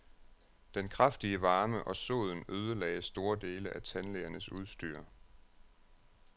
Den kraftige varme og soden ødelagde store dele af tandlægernes udstyr.